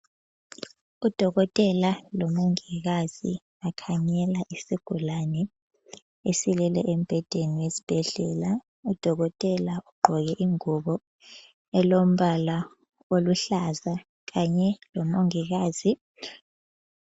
Udokotela lomongikazi bakhangela isigulane esilele embhedeni wesibhedlela. Udokotela ugqoke ingubo elombala oluhlaza kanye lomongikazi.